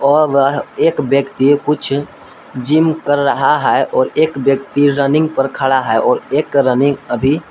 और वह एक व्यक्ति कुछ जिम कर रहा है और एक व्यक्ति रनिंग पर खड़ा है और एक रनिंग अभी--